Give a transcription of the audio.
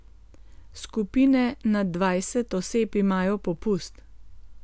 Skupine nad dvajset oseb imajo popust.